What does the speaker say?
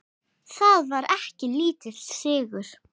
Það var ekki lítill sigur!